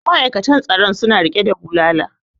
ma'aikatan tsaron suna rike da bulala